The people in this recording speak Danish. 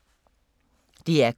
DR K